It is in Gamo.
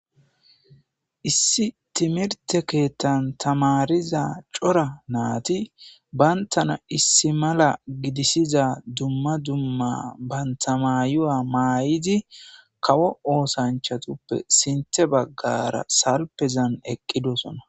issi timirte keettan tamariza cora naati bayntana issi mala gidisiza dumma dumma bantamayuwa maay7idi kawo oosanchatuppe sinthe baggara salpezan eqqidosona